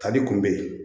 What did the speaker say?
Tali kunbɛ